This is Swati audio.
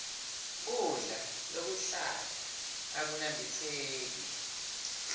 kudla lokuhlata akunambitseki